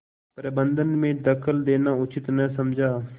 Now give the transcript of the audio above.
प्रबंध में दखल देना उचित न समझा